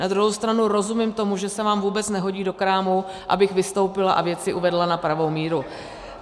Na druhou stranu rozumím tomu, že se vám vůbec nehodí do krámu, abych vystoupila a věci uvedla na pravou míru.